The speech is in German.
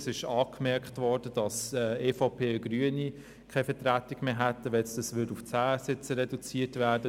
Es ist angemerkt worden, dass die EVP und die Grünen bei einer Sitzreduktion auf 10 keine Vertretung mehr hätten.